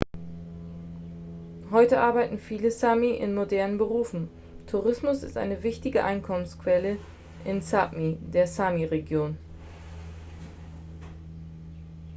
heute arbeiten viele sámi in modernen berufen. tourismus ist eine wichtige einkommensquelle in sápmi der sámi-region